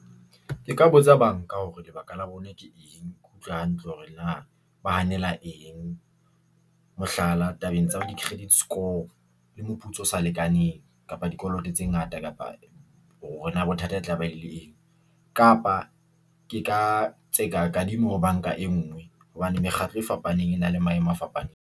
Ke ka botsa banka hore lebaka la bona ke eng. Ke utlwa hantle hore na ba hanela eng, mohlala, tabeng tsa, di-credit score le moputso o sa lekaneng kapa dikoloto tse ngata, kapa hore na bothata e tlabe e le eng kapa ke ka tseka kadimo. Banka e nngwe hobane mekgatlo e fapaneng e na le maemo a fapaneng.